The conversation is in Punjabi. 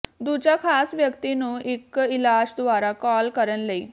ਦੂਜਾ ਖਾਸ ਵਿਅਕਤੀ ਨੂੰ ਵਿੱਚ ਇਲਾਜ ਦੁਆਰਾ ਕਾਲ ਕਰਨ ਲਈ